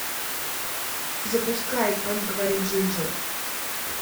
запускай как говорит джинджер